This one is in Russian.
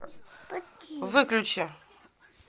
выключи